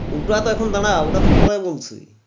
উটাহ এখন দারা উঠা তো পরে বলছি